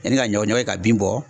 Yanni ka ɲɔ ɲɔ kɛ ka bin bɔ